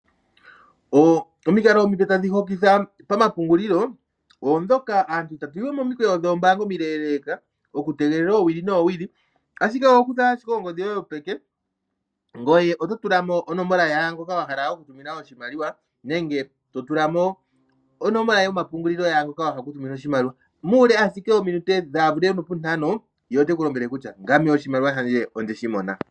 Omikalo omipe tadhi hokitha pama pungulilo odhoka. Aantu ita tu yiwe momikweyo omileeleka, oku tegelela owili noowili. Ashike oho kutha ashike ongodhi yoye yopeke ngoye oto tula mo onomola yaangoka wa hala oku tumina oshimaliwa. Nenge to tula mo onomola yomapungulilo yaa ngoka wa hala oku tumina oshimaliwa. Muule ashike wominute kaadhi thike nopu ntano ye ote ku lombwele kutya ngame oshimaliwa shandje ondeshi mona.